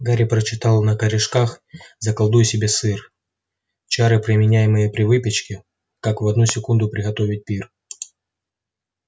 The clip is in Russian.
гарри прочитал на корешках заколдуй себе сыр чары применяемые при выпечке как в одну секунду приготовить пир